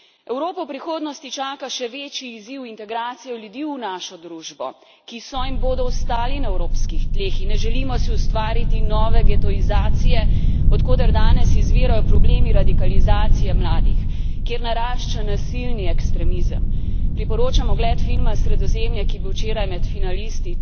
Evropo prihodnosti čaka še večji izziv integracije ljudi v našo družbo, ki so in bodo ostali na evropskih tleh, in ne želimo si ustvariti nove getoizacije, od koder danes izvirajo problemi radikalizacije mladih, kjer narašča nasilni ekstremizem. Priporočam ogled filma Sredozemlje, ki je bil včeraj med finalisti